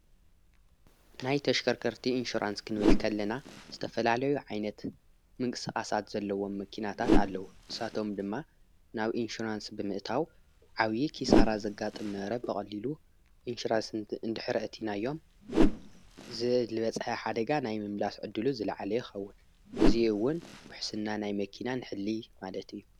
ናይ ተሽከርከርቲ ኢንሸራንስ ክንብልከለና ዝተፈላለዩ ዓይነት ምንቅስቓሳት ዘለዎም መኪናታት ኣለዉ ንሳቶም ድማ ናብ ኢንሸራንስ ብምእታው ዓውዪ ኪሳራ ዘጋጥም ዝነበረ ብቐሊሉ ኢንሽራንስንቲ እንድኅሪ አቲኢናዮም ዝልበጽሐ ሓደጋ ናይ ምምላስ ዕድሉ ዝለዓለ ይኸውን እዙይውን ውሕስና ናይ መኪናን ሕሊ ማለት እዩ።